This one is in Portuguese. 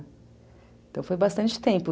Então foi bastante tempo.